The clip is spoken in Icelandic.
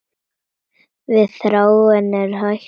Við Þráinn eru hætt saman.